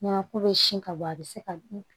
Nɔnɔ ko bɛ sin ka bɔ a bɛ se ka